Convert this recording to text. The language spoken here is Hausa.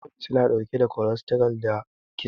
Mayones yana ɗauke da kolestaral da kitse.